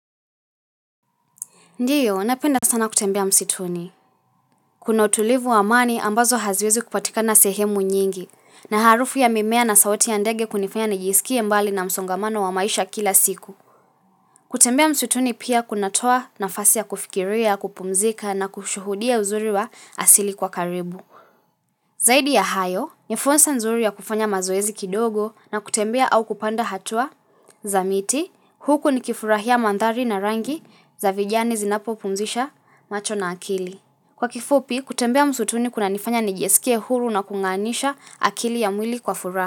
Ndiyo, napenda sana kutembea msituni. Kuna utulivu wa amani ambazo haziwezi kupatika na sehemu nyingi. Na harufu ya mimea na sauti ya ndege kunifanya na jisikie mbali na msongamano wa maisha kila siku. Kutembea msituni pia kunatoa na fasia kufikiria, kupumzika na kushuhudia uzuri wa asili kwa karibu. Zaidi ya hayo, nifursa nzuri ya kufanya mazoezi kidogo na kutembea au kupanda hatua za miti. Huku ni kifurahia mandhari na rangi za vijani zinapopumzisha macho na akili. Kwa kifupi, kutembea msutuni kuna nifanya nijesikie huru na kunganisha akili ya mwili kwa furahi.